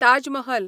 Taj Mahal